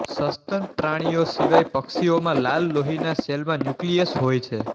સસ્તનપ્રાણીઓ સિવાય પક્ષીઓમાં લાલ લોહીના સેલમાં ન્યુક્લિયસહોય છે